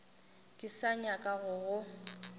ke sa nyaka go go